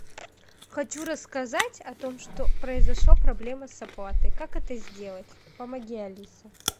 хочу рассказать о том что произошла проблема с оплатой как это сделать помоги алиса